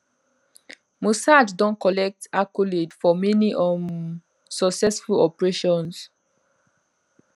mossad don collect accolade for many um successful operations